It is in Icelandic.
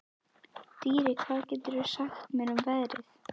Dýri, hvað geturðu sagt mér um veðrið?